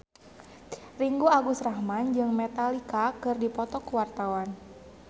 Ringgo Agus Rahman jeung Metallica keur dipoto ku wartawan